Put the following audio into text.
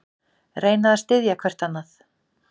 Reyna að styðja hvert annað